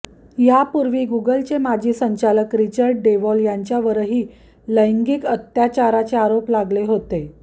या पूर्वी गुगलचे माजी संचालक रिचर्ड डेवाॅल यांच्यावरही लैंगिक अत्याचाराचे आरोप लागले होते